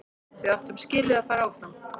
Við áttum skilið að fara áfram.